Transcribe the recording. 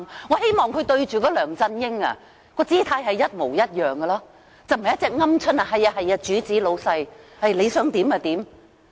我希望他在面對梁振英時，也能有這種態度，而非如鵪鶉般對着老闆唯唯諾諾。